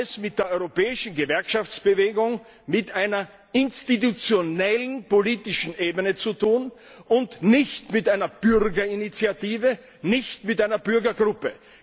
Wir haben es bei der europäischen Gewerkschaftsbewegung mit einer institutionellen politischen Ebene zu tun und nicht mit einer Bürgerinitiative, nicht mit einer Bürgergruppe.